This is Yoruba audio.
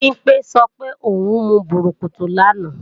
Bimpé sọ pé ò ń mu bùrùkùtù lánàá